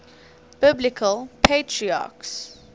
biblical patriarchs